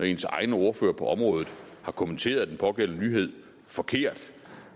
ens egen ordfører på området har kommenteret den pågældende nyhed forkert